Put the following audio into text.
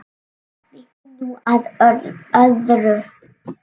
Víkjum nú að öðru.